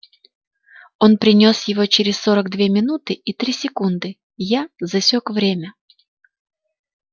он принёс его через сорок две минуты и три секунды я засёк время